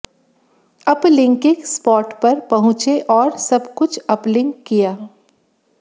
uplinking spot पर पहुंचे और सुब कुछ अपलिंक किया